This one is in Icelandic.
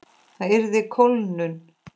Það yrði kólnun.